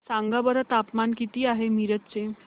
सांगा बरं तापमान किती आहे मिरज चे